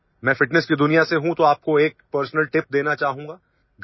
मैं ଫିଟନେସ୍ की दुनिया से हूँ तो आपको एकpersonal ଟିପ୍ देना चाहूँगा